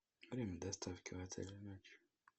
время доставки в отеле ночью